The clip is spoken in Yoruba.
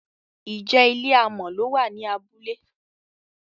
ìje ilé amò ló wà ní abúlé?